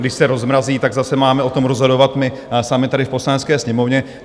Když se rozmrazí, tak zase máme o tom rozhodovat my sami tady v Poslanecké sněmovně.